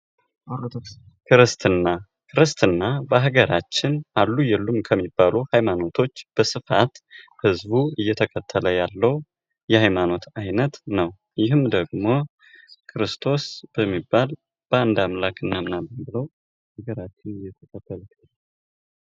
ክርስትና፤ ክርስትና በሃገራችን አሉ አሉ ከሚባሉ ሃይማኖቶች በስፋት ህዝቡ እየተከተለው ያለው የሃይማኖት አይነት ነው። ይህም ደግሞ ክርስቶስ በሚባል በአንድ አምላክ እናምናለን ብለው በሃገራችን የተከተሉት።